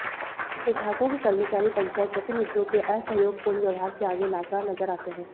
विभागों के कर्मचारी पंचायत प्रतिनिधियों के असहयोगपूर्ण व्यवहार के आगे लाचार नजर आते हैं